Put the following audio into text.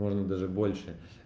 можно даже больше